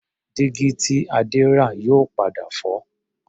Dígí tí Adé rà yóò padà fọ́